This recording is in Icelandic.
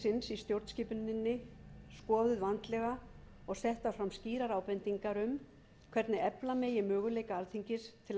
stjórnskipuninni skoðuð vandlega og settar fram skýrar ábendingar um hvernig efla megi möguleika alþingis